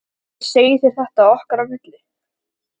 Ég segi þér þetta okkar á milli